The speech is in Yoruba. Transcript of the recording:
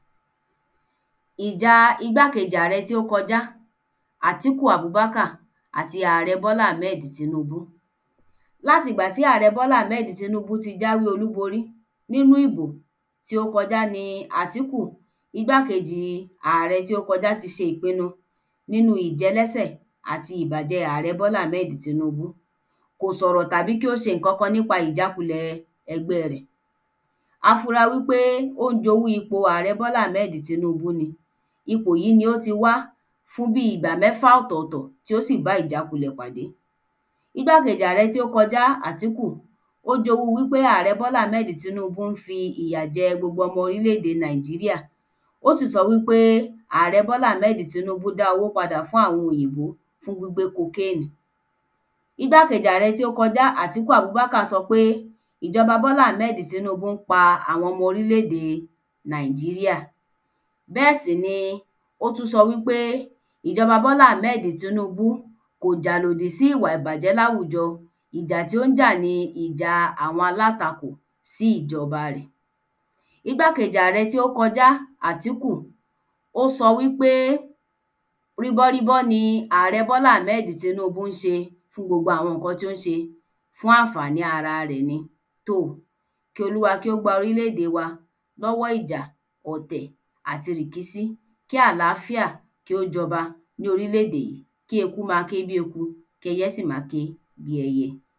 Ìja igbákejì àrẹ tí ó kojá Àtíku Abubakar Àti àrẹ Bọ́lá Ahmed Tinúbú Láti ìgbà tí àrẹ Bọ́lá Ahmed Tinúbú ti jáwé olúborí nínú ìbò tí ó kojá ni Àtíku igbákejì igbákejì àrẹ tí ó kojá ti ṣe ìpinu nínu ìjẹlẹ́sẹ̀ àti ìbàjẹ àrẹ Bọ́lá Ahmed Tinúbú kò sọ̀rọ̀ tàbí kí ó ǹkankan nípa ìjákulẹ̀ ẹgbẹ́ rẹ̀ afura wí pé ó ń jowú ipò àrẹ Bọ́lá Ahmed Tinúbú ni ipò yí ni ó ti wá fún bí ìgbà mẹ́fà ọ̀tọ̀tọ̀ tí ó sì bá ìjákulẹ̀ pàdé igbákejì àrẹ tí ó kojá Àtíku ó ń jowú wí pé àrẹ Bọ́lá Ahmed Tinúbú ń fi ìyà jẹ ọmọ oríléde Nàìjíríà ó sì sọ wí pé àrẹ Bọ́lá Ahmed Tinúbú dá owó padà fún àwọn òyìnbó fún gbígbé kokéèní igbákejì àrẹ tí ó kojá Àtíku Abubakar sọ wí pé ìjọba Bọ́lá Ahmed Tinúbú ń pa àwọn ọmọ oríléde Nàìjíríà Nàìjíríà bẹ́ẹ̀ sì ni ó tú sọ wí pé ìjọba Bọ́lá Ahmed Tinúbú kò jà ìlòdí sí ìwà ìbàjẹ́ láwùjọ ìjà tí ó ń jà ni ìja àwọn alátakò sí ìjọba rẹ̀ igbákejì àrẹ tí ó kojá Àtíku ó sọ wí pé ríbọ́ríbọ́ ni àrẹ Bola Ahmed Tinubu ń ṣe fún gbogbo àwọn ǹkan ti ó ń ṣe fún àǹfàní ara rẹ̀ ni tò kí Olúwa kí ó gba orílèdè wa lọ́wọ́ ìjà ọ̀tẹ̀ àti rìkísí kí àláfíà kí ó jọba ní orílèdè yí kí eku ma ké bí eku kí ẹyẹ sì ma ké bí ẹyẹ